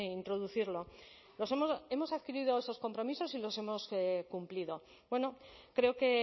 introducirlo hemos hemos adquirido esos compromisos y los hemos que cumplido bueno creo que